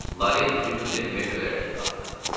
Lare üzü gülə-gülə göyərtəyə qalxdı.